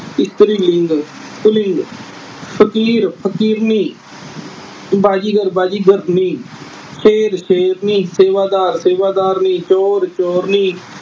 ਇਸਤਰੀ ਲਿੰਗ ਪੁਲਿੰਗ। ਫ਼ਕੀਰ-ਫ਼ਕੀਰਨੀ, ਬਾਜੀਗਰ-ਬਾਜੀਗਰਨੀ, ਸ਼ੇਰ-ਸ਼ੇਰਨੀ, ਸੇਵਾਦਾਰ-ਸੇਵਾਦਾਰਨੀ, ਚੋਰ-ਚੋਰਨੀ